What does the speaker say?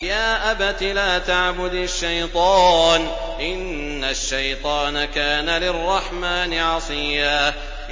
يَا أَبَتِ لَا تَعْبُدِ الشَّيْطَانَ ۖ إِنَّ الشَّيْطَانَ كَانَ لِلرَّحْمَٰنِ عَصِيًّا